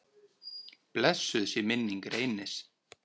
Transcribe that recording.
Blessuð sé minning Reynis.